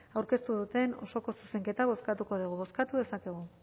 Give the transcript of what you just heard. aurkeztu duten osoko zuzenketa bozkatuko dugu bozkatu dezakegu